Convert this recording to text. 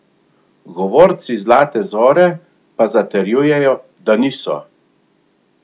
Govorci Zlate zore pa zatrjujejo, da niso.